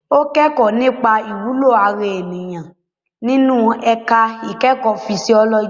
Ó kẹ́kọ̀ọ́ nípa ìwúlò ara ènìyàn nínú ẹ̀ka ìkẹ́kọ̀ọ́ fisiọ́lọ́jì.